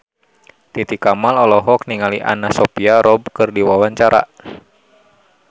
Titi Kamal olohok ningali Anna Sophia Robb keur diwawancara